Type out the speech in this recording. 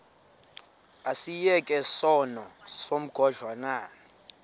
asiyeke sono smgohlwaywanga